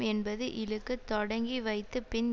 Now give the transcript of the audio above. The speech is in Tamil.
என்பது இழுக்கு தொடங்கி வைத்து பின்